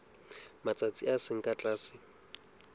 matsatsi a seng ka tlase